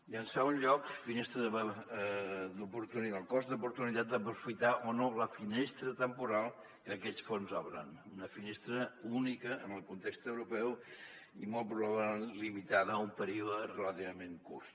i en segon lloc cost d’oportunitat d’aprofitar o no la finestra temporal que aquests fons obren una finestra única en el context europeu i molt probablement limitada a un període relativament curt